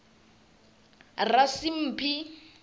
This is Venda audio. rasimphi